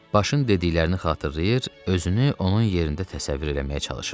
Başın dediklərini xatırlayır, özünü onun yerində təsəvvür eləməyə çalışırdı.